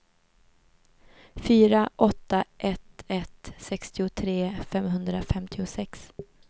fyra åtta ett ett sextiotre femhundrafemtiosex